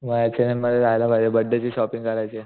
H and M मध्ये जायला पाहिजे बर्थडे ची शॉपिंग करायचीये.